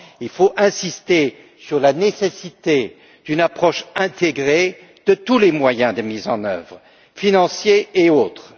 Il faut insister sur la nécessité d'une approche intégrée de tous les moyens de mise en œuvre, financiers et autres.